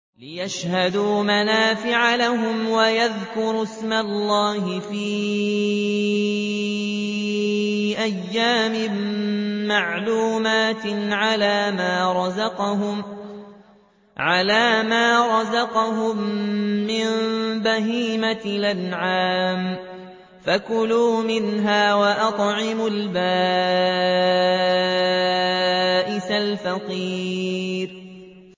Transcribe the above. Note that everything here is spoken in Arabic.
لِّيَشْهَدُوا مَنَافِعَ لَهُمْ وَيَذْكُرُوا اسْمَ اللَّهِ فِي أَيَّامٍ مَّعْلُومَاتٍ عَلَىٰ مَا رَزَقَهُم مِّن بَهِيمَةِ الْأَنْعَامِ ۖ فَكُلُوا مِنْهَا وَأَطْعِمُوا الْبَائِسَ الْفَقِيرَ